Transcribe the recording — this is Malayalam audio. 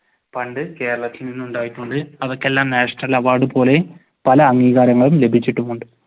പണ്ട് കേരളത്തിൽ ഉണ്ടായിട്ടുണ്ട്. അതൊക്കെ എല്ലാം national award പോലെ പല അംഗീകാരങ്ങളും ലഭിച്ചിട്ടുമുണ്ട്.